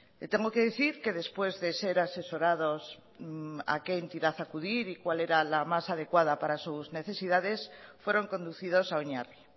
le tengo que decir que después de ser asesorados a qué entidad acudir y cuál era la más adecuada para sus necesidades fueron conducidos a oinarri